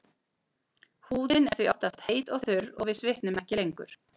Húðin er því oftast heit og þurr og við svitnum ekki lengur.